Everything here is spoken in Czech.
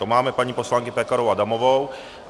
To máme paní poslankyni Pekarovou Adamovou.